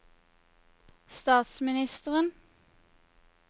statsministeren